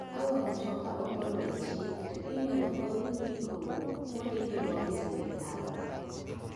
Ka wuon mtoka ok oluwe chik to inyal gol ndiko mondikego gi sirkal.